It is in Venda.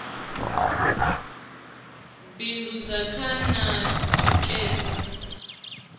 bindudza kha na u tikedza